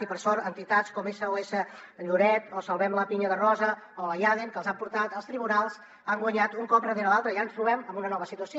i per sort entitats com sos lloret o salvem pinya de rosa o la iaeden que els han portat als tribunals han guanyat un cop darrere l’altre i ara ens trobem amb una nova situació